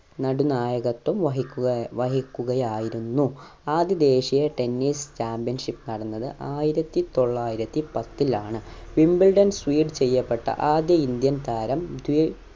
നടുനായകത്വം വഹിക്കുക വഹിക്കുകയായിരുന്നു ആദ്യ ദേശീയ tennis championship നടന്നത് ആയിരത്തി തൊള്ളായിരത്തി പത്തിലാണ് wimbledon ചെയ്യപ്പെട്ട ആദ്യ indian താരം